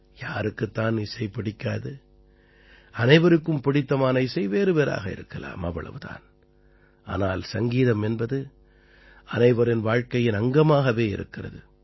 யாருக்குத் தான் இசை பிடிக்காது அனைவருக்கும் பிடித்தமான இசை வேறுவேறாக இருக்கலாம் ஆனால் சங்கீதம் என்பது அனைவரின் வாழ்க்கையின் அங்கமாகவே இருக்கிறது